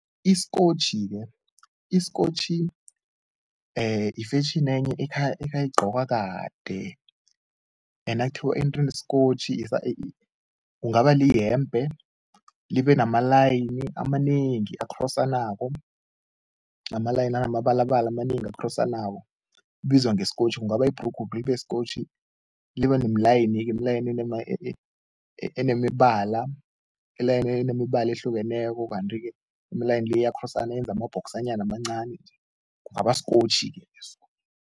Isikotjhi-ke isikotjhi ifetjheni enye ekha igqokwa kade nakuthiwa isikotjhi kungaba liyembhe, libe namalayini amanengi akhrosanako, amalayini anamabalabala amanengi akhrosanako, ibizwa ngesikotjhi. Kungaba yibhrugu isikotjhi libe nemilayini, imilayini enemibala, iyalini elinemibala ehlukeneko kanti-ke imilayini le iyakhrosana, yenza amabhokisanyana amancani, kungaba sikotjhi-ke leso.